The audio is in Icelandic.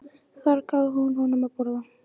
Þar gaf hún honum að borða.